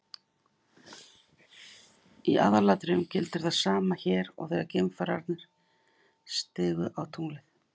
Í aðalatriðum gildir það sama hér og þegar geimfararnir stigu á tunglið.